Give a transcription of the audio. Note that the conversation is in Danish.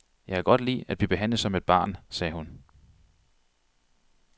Jeg kan godt lide at blive behandlet som et barn, sagde hun.